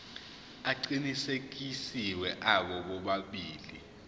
aqinisekisiwe abo bobabili